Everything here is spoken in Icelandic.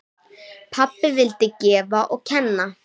Pabbi vildi gefa og kenna.